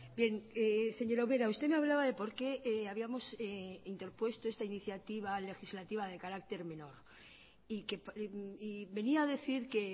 bien señora ubera usted me hablaba de por qué habíamos interpuesto esta iniciativa legislativa de carácter menor y venía a decir que